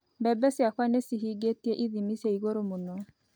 Mbembe ciakwa nĩ cihingĩtie ithimi cia igũrũ mũno